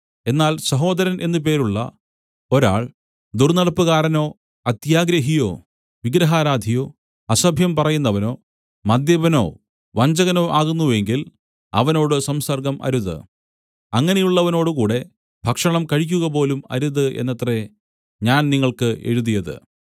എന്നാൽ സഹോദരൻ എന്നു പേരുള്ള ഒരാൾ ദുർന്നടപ്പുകാരനോ അത്യാഗ്രഹിയോ വിഗ്രഹാരാധിയോ അസഭ്യം പറയുന്നവനോ മദ്യപനോ വഞ്ചകനോ ആകുന്നു എങ്കിൽ അവനോട് സംസർഗ്ഗം അരുത് അങ്ങനെയുള്ളവനോടുകൂടെ ഭക്ഷണം കഴിക്കുകപോലും അരുത് എന്നത്രേ ഞാൻ നിങ്ങൾക്ക് എഴുതിയത്